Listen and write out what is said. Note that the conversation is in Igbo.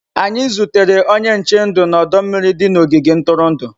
Anyị zutere onye nche ndụ na ọdọ mmiri dị n'ogige ntụrụndụ.